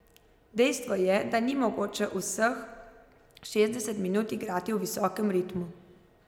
Dejstvo je, da ni mogoče vseh šestdeset minut igrati v visokem ritmu.